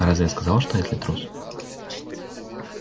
а разве я сказала что эшли трус